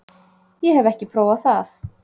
Ég hef ekki prófað það.